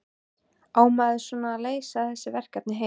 Á maður svo að leysa þessi verkefni heima?